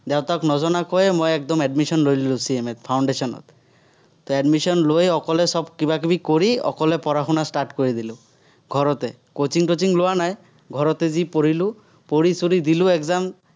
দেউতাক নজনোৱাকৈ মই একদম admission লৈ ল'লো, CMA ত foundation ত । তো admission লৈ অকলে চব কিবা-কিবি কৰি, অকলে পঢ়া-শুনা start কৰি দিলো, ঘৰতে। coaching টচিং লোৱা নাই ঘৰতে যি পঢ়িলো, পঢ়ি-চঢ়ি দিলো exam ।